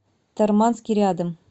тарманский рядом